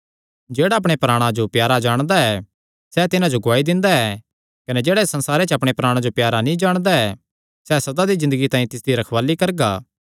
जेह्ड़ा अपणे प्राणा जो प्यारा जाणदा ऐ सैह़ तिन्हां जो गुआई दिंदा ऐ कने जेह्ड़ा इस संसारे च अपणे प्राणा जो प्यारा नीं जाणदा ऐ सैह़ सदा दी ज़िन्दगी तांई तिसदी रखवाल़ी करगा